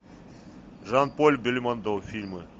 жан поль бельмондо фильмы